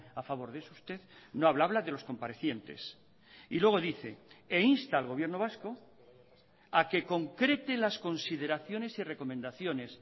a favor de eso usted no habla habla de los comparecientes y luego dice e insta al gobierno vasco a que concrete las consideraciones y recomendaciones